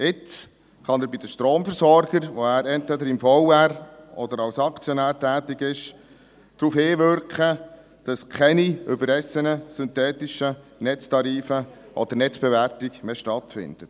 Jetzt kann er bei den Stromversorgern, wo er entweder im VR oder als Aktionär tätig ist, darauf hinwirken, dass keine überrissenen synthetischen Netztarife oder Netzbewertungen mehr stattfinden.